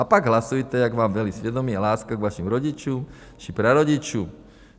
A pak hlasujte, jak vám velí svědomí a láska k vašim rodičům či prarodičům.